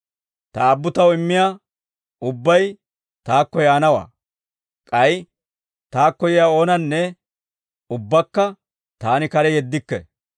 Ta Aabbu taw immiyaa ubbay taakko yaanawaa; k'ay taakko yiyaa oonanne ubbakka taani kare yeddikke.